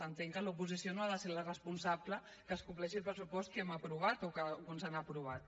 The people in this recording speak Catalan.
entenc que l’oposició no ha de ser la responsable que es compleixi el pressupost que hem aprovat o que alguns han aprovat